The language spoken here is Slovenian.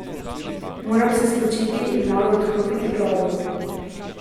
Moram se spočiti in malo odklopiti glavo.